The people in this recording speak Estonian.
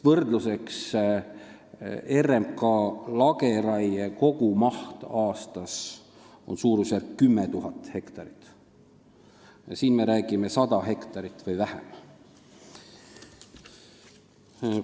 Võrdluseks: RMK lageraie kogumaht aastas on suurusjärgus 10 000 hektarit, siin me räägime 100 hektarist või väiksemast mahust.